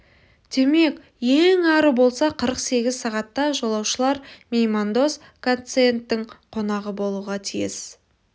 демек ең ары болса қырық сегіз сағатта жолаушылар меймандос гациендтің қонағы болуға тиіс